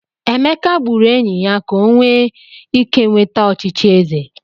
Emeka gburu enyi ya ka o wee ike nweta echichi eze.